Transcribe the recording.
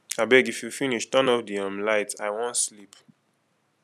abeg if you finish turn off the um light i wan sleep